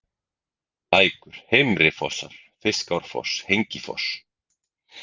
Lækur, Heimrifossar, Fiskárfoss, Hengifoss